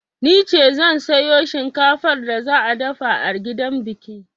Nice zan sayo shinkafar da za a dafa a gidan biki.